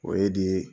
O ye di